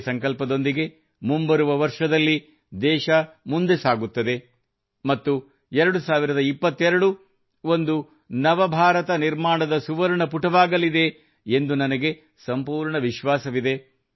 ಇದೇ ಸಂಕಲ್ಪದೊಂದಿಗೆ ಮುಂಬರುವ ವರ್ಷದಲ್ಲಿ ದೇಶ ಮುಂದೆ ಸಾಗುತ್ತದೆ ಮತ್ತು 2022 ಒಂದು ನವ ಭಾರತ ನಿರ್ಮಾಣದ ಸುವರ್ಣ ಪುಟವಾಗಲಿದೆ ಎಂದು ನನಗೆ ಸಂಪೂರ್ಣ ವಿಶ್ವಾಸವಿದೆ